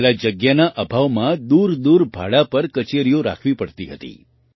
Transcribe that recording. પહેલાં જગ્યાના અભાવમાં દૂરદૂર ભાડા પર કચેરીઓ રાખવી પડતી હતી